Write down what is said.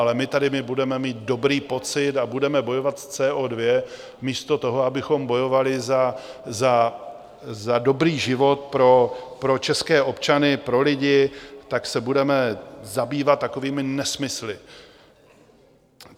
Ale my tady budeme mít dobrý pocit a budeme bojovat s CO2, místo toho, abychom bojovali za dobrý život pro české občany, pro lidi, tak se budeme zabývat takovými nesmysly.